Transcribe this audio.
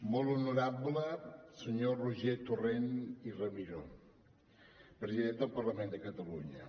molt honorable senyor roger torrent i ramió president del parlament de catalunya